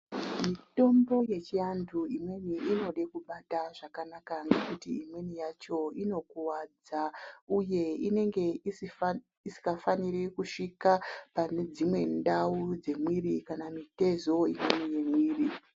Mitombo yechiantu imweni inode kubata zvakanaka ngekuti imweni yacho inokuwadza, uye inenge isikafaniri kusvika pane dzimwe ndau dzemwiri kana mitezo imweni yemwiri.